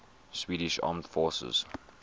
swedish armed forces